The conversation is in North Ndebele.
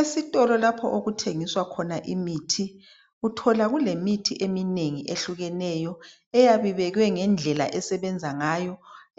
Isitolo lapho okuthengiswa khona imithi uthola kulemithi eminengi ehlukeneyo eyabe ibekwe ngendlela esebenza ngayo